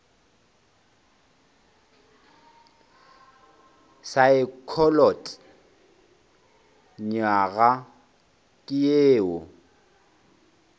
saekholot nywaga ke ye e